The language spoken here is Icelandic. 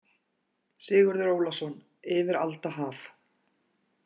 Sigurður Ólason: Yfir alda haf.